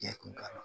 Jɛkulu kalan